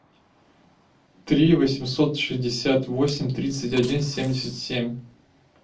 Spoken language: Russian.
три восемьсот шестьдесят восемь тридцать один семьдесят семь